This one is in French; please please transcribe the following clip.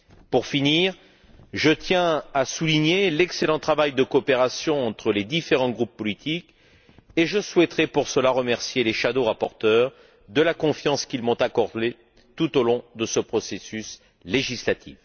Pour terminer, je tiens à souligner l'excellent travail de coopération entre les différents groupes politiques et je souhaiterais, pour cela, remercier les rapporteurs fictifs de la confiance qu'ils m'ont accordée tout au long de ce processus législatif.